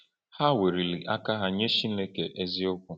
Ha weliri aka ha nye Chineke eziokwu.